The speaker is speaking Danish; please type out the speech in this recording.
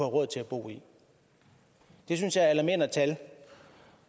råd til at bo i det synes jeg er alarmerende tal